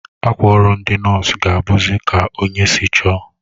Akwa ọrụ ndi nọọsụ ga abuzi Ka onye si chọọ